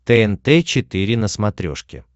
тнт четыре на смотрешке